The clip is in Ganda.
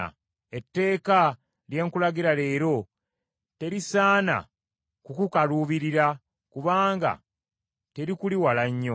Etteeka lye nkulagira leero terisaana kukukaluubirira, kubanga terikuli wala nnyo.